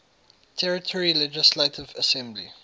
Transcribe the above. territory legislative assembly